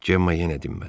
Cemma yenə dinmədi.